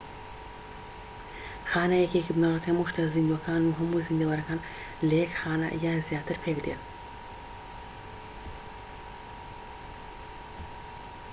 خانە یەکەیەکی بنەڕەتی هەموو شتە زیندووەکانن و هەموو زیندەوەرەکان لە یەک خانە یان زیاتر پێکدێن